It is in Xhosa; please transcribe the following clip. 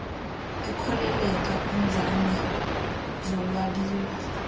ekhokelela kwiinzame zolwabiwo